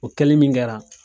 O kɛli min kɛra